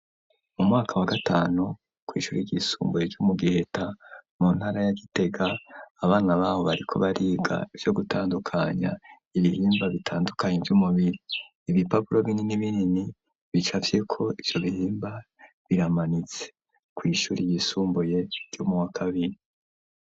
Mu mwaka wa gatanu kw ishuri ry'isumbuye ryo mu Giheta mu ntara ya Gitega abana babo bariko bariga yo gutandukanya ibihimba bitandukanye vy'umubiri .Ibipapuro binini binini bicafye ko ivyo bihimba biramanitse ku ishuri y'isumbuye ryo mu wakabiri.